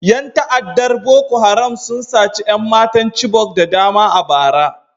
Yan ta'addar Boko Haram sun sace 'yan matan Chibok da dama a bara